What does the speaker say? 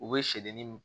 U bɛ seleri